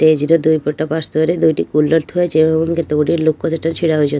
ଟେଜ ର ଦୁଇ ପଟ ପାର୍ଶ୍ଵ ରେ ଦୁଇ ଟି କୁଲର ଥୁଆ ହୋଇଛି ଏବମ୍ କେତେ ଗୁଡିଏ ଲୋକ ସେଠାରେ ଛିଡ଼ା ହେଇଛନ୍ତି .